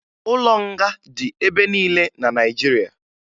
Ụlọ nga dị ebe niile na Naịjirịa